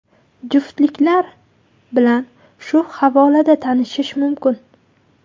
Juftliklar bilan shu havolada tanishish mumkin.